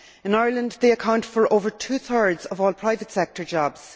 In Ireland they account for over two thirds of all private sector jobs.